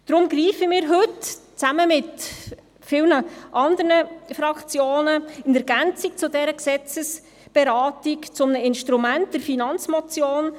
Deshalb greifen wir heute zusammen mit vielen anderen Fraktionen in Ergänzung zu dieser Gesetzesberatung zu einem Instrument, der Finanzmotion.